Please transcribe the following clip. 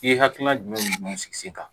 I ye hakilina jumɛn sigi sen kan